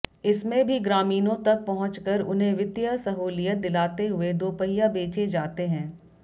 इसमें भी ग्रामीणों तक पहुंचकर उन्हें वित्तीय सहूलियत दिलाते हुए दोपहिया बेचे जाते हैं